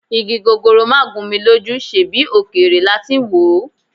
Igi gogoro máà gún mi lójú, ṣebí òkèèrè la ti ń wòó?